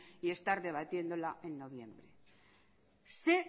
y estar debatiéndola en noviembre sé